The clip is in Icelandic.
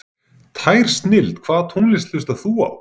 Tær snilld Hvaða tónlist hlustar þú á?